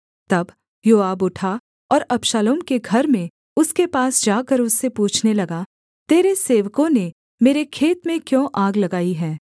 तब योआब उठा और अबशालोम के घर में उसके पास जाकर उससे पूछने लगा तेरे सेवकों ने मेरे खेत में क्यों आग लगाई है